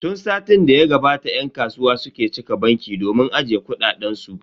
Tun satin da ya gabata yan kasuwa suke cika banki domin ajiye kuɗaɗen su.